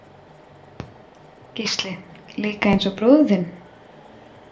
Gísli: Líka eins og bróðir þinn?